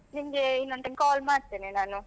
ನಿಮ್ಗೆ ಇನ್ನೊಂದು time call ಮಾಡ್ತೇನೆ ನಾನು.